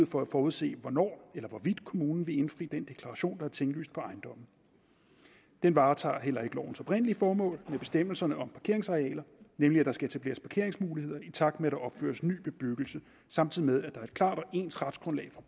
for at forudse hvornår eller hvorvidt kommunen vil indfri den deklaration der er tinglyst på ejendommen den varetager heller ikke lovens oprindelige formål med bestemmelserne om parkeringsarealer nemlig at der skal etableres parkeringsmuligheder i takt med at der opføres ny bebyggelse samtidig med at der er et klart og ens retsgrundlag for